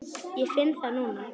Ég finn það núna.